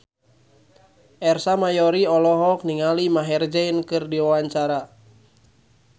Ersa Mayori olohok ningali Maher Zein keur diwawancara